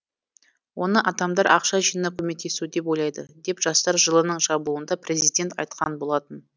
оны адамдар ақша жинап көмектесу деп ойлайды деп жастар жылының жабылуында президент айтқан болатын